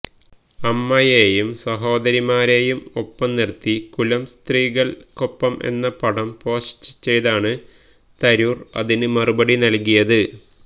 അമ്മയെയും സഹോദരിമാരെയും ഒപ്പംനിർത്തി കുലസ്ത്രീകൾക്കൊപ്പം എന്ന പടം പോസ്റ്റ് ചെയ്താണ് തരൂർ അതിന് മറുപടി നൽകിയത്